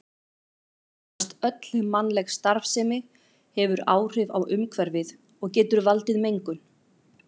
Nánast öll mannleg starfsemi hefur áhrif á umhverfið og getur valdið mengun.